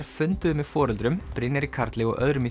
funduðu með foreldrum Brynjari Karli og öðrum í